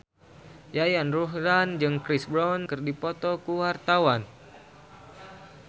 Yayan Ruhlan jeung Chris Brown keur dipoto ku wartawan